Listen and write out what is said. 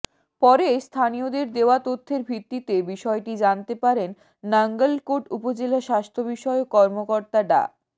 পরে স্থানীয়দের দেওয়া তথ্যের ভিত্তিতে বিষয়টি জানতে পারেন নাঙ্গলকোট উপজেলা স্বাস্থ্যবিষয়ক কর্মকর্তা ডা